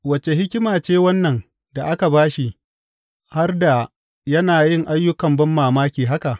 Wace hikima ce wannan da aka ba shi, har da yana yin ayyukan banmamaki haka!